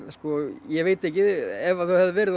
ég veit ekki ef þau hefðu verið